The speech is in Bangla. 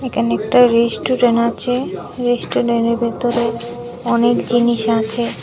এখানে একটা রেস্টুরেন আছে রেস্টুরেনের ভেতরে অনেক জিনিস আছে।